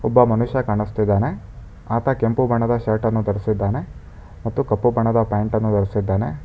ಒಬ್ಬ ಮನುಷ್ಯ ಕಾಣುಸ್ತಿದಾನೆ ಆತ ಕೆಂಪು ಬಣ್ಣದ ಶರ್ಟನ್ನು ಧರಿಸಿದ್ದಾನೆ ಮತ್ತು ಕಪ್ಪು ಬಣ್ಣದ ಪ್ಯಾಂಟನ್ನು ಧರಿಸಿದ್ದಾನೆ.